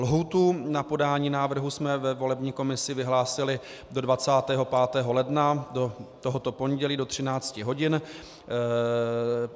Lhůtu na podání návrhu jsme ve volební komisi vyhlásili do 25. ledna, do tohoto pondělí do 13 hodin.